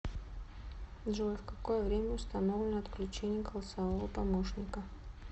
джой в какое время установлено отключение голосового помощника